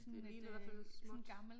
Det ligner i hvert fald småt